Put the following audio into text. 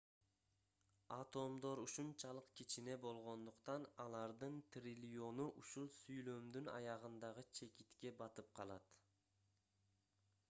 атомдор ушунчалык кичине болгондуктан алардын триллиону ушул сүйлөмдүн аягындагы чекитке батып калат